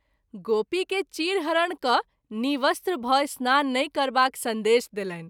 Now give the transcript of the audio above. गोपी के चीर हरण क’ नि:वस्त्र भ’ स्नान नहिं करबाक संदेश देलनि।